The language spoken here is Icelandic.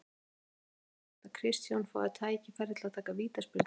Því er spurning hvort að Kristján fái tækifæri til að taka vítaspyrnu?